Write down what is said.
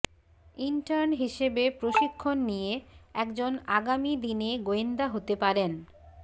intern হিসেবে প্রশিক্ষণ নিয়ে একজন আগামী দিনে গোয়েন্দা হতে পারেন